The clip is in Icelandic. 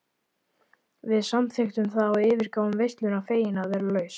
Við samþykktum það og yfirgáfum veisluna fegin að vera laus.